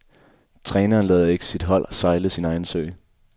Træneren lader ikke sit hold sejle sin egen sø.